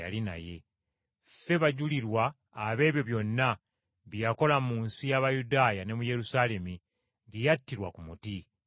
“Ffe bajulirwa ab’ebyo byonna bye yakola mu nsi y’Abayudaaya ne mu Yerusaalemi, gye yattirwa ku musaalaba.